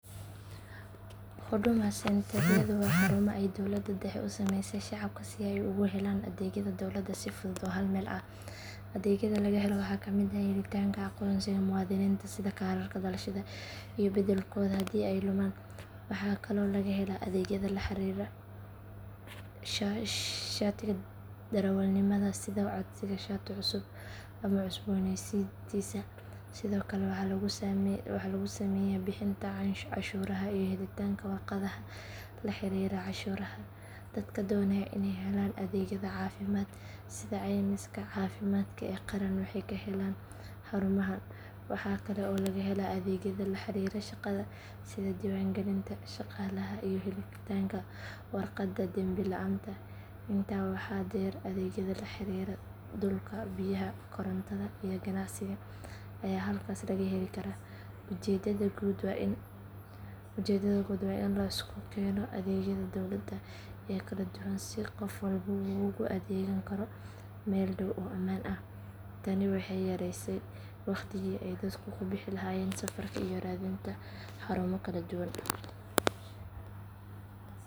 Huduma centre-yadu waa xarumo ay dowladda dhexe u sameysay shacabka si ay ugu helaan adeegyada dowladda si fudud oo hal meel ah. Adeegyada laga helo waxaa ka mid ah helitaanka aqoonsiga muwaadiniinta sida kaararka dhalashada iyo beddelkooda haddii ay lumaan. Waxaa kaloo laga helaa adeegyada la xiriira shatiga darawalnimada sida codsiga shati cusub ama cusbooneysiintiisa. Sidoo kale waxaa lagu sameeyaa bixinta cashuuraha iyo helitaanka warqadaha la xiriira canshuuraha. Dadka doonaya inay helaan adeegyada caafimaadka sida caymiska caafimaadka ee qaran waxay ka helaan xarumahan. Waxaa kale oo laga helaa adeegyada la xiriira shaqada sida diiwaangelinta shaqaalaha iyo helitaanka warqadda dembi la’aanta. Intaa waxaa dheer adeegyada la xiriira dhulka, biyaha, korontada iyo ganacsiga ayaa halkaas laga heli karaa. Ujeedada guud waa in la isku keeno adeegyada dowladda ee kala duwan si qof walba uu ugu adeegan karo meel dhow oo ammaan ah. Tani waxay yareysay waqtigii ay dadku ku bixi lahaayeen safarka iyo raadinta xarumo kala duwan.